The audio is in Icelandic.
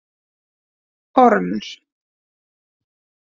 Ormur